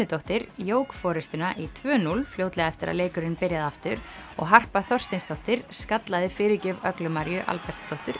Hönnudóttir jók forystuna í tvö núll fljótlega eftir að leikurinn byrjaði aftur og Harpa Þorsteinsdóttir skallaði fyrirgjöf Öglu Maríu